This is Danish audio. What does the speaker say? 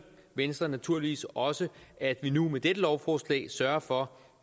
venstre naturligvis også at vi nu med dette lovforslag sørger for